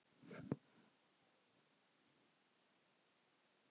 Mamma þáði það með þökkum.